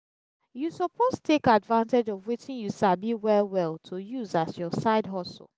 you suppose take advantage of wetin you sabi well well to use as your side hustle